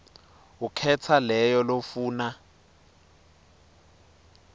ukhetsa leyo lofuna